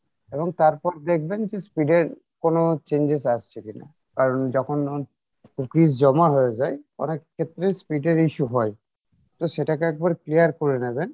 এবং তারপর দেখবেন যে speed এর কোনো changes আসছে কিনা কারণ যখন cookies জমা হয়ে যাই অনেক ক্ষেত্রেই speed এর issue হয় তো সেটাকে একবার clear করে নেবেন